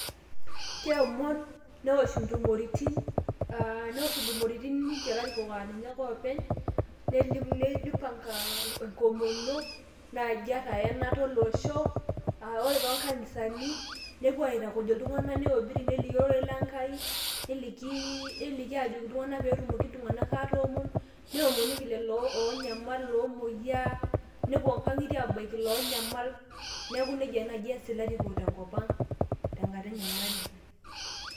keomon neosh intumoritin, neosh intumoritin ilarikoko aa ninche ake oopeny, neli neipang'a enkomono, naaji ata eyanata olosho, aa ore too nkanisani nepuo aitukuj iltung'ana neobiri neliki ororei le nkai, neliki ajoki peetum iltunganak atoomon, neomonoki lelo oonyamal loomoyiaa, nepuo nkangitie aabaiki iloo nyamal.